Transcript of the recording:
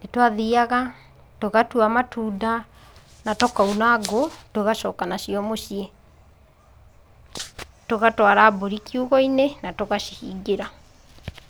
nĩ twathiaga tũgatua matunda, na tũkauna ngũũ tũgacoka nacio mũciĩ. Tũgatwara mbũri kiugũ-inĩ, na tũgacihingĩra.